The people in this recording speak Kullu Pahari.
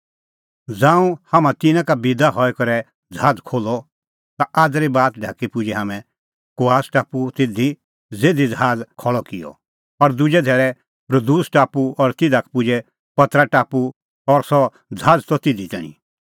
ज़ांऊं हाम्हां तिन्नां का बिदा हई करै ज़हाज़ खोल्हअ ता आज़री बात ढाकी पुजै हाम्हैं कोआस टापू ज़िधी हाम्हैं ज़हाज़ खल़अ किअ और दुजै धैल़ै रुदूस टापू और तिधा का पुजै पतरा टापू और सह ज़हाज़ त तिधी तैणीं